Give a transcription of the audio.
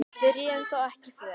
Við réðum þó ekki för.